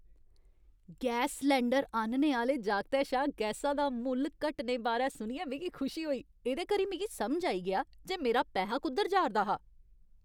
Gas cylinder आह्नने आह्‌ले जागतै शा गैसा दा मुल्ल घटने बारै सुनियै मिगी खुशी होई। एह्दे करी मिगी समझ आई गेआ जे मेरा पैहा कुद्धर जा'रदा हा।